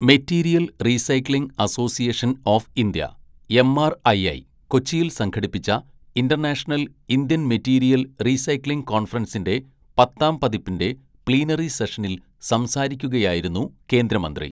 Material recycling association of India MRAI കൊച്ചിയിൽ സംഘടിപ്പിച്ച international Indian material recycling കോൺഫറൻസിന്റെ പത്താം പതിപ്പിന്റെ പ്ലീനറി സെഷനിൽ സംസാരിക്കുകയായിരുന്നു കേന്ദ്രമന്ത്രി.